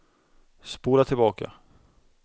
spola tillbaka